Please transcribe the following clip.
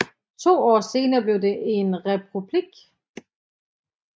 To år senere blev det en republik